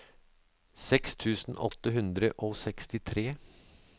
seks tusen åtte hundre og sekstitre